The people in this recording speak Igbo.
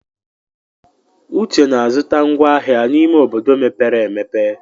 Uche na-azụta ngwá ahịa n'ime obodo mepere emepe.